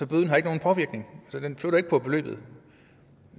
bøden har ikke nogen påvirkning så den flytter ikke på beløbet